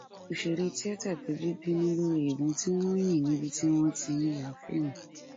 òṣèré tíáta péjú bínú lórí ìbọn tí wọn yìn níbi tí wọn ti ń ya fíìmù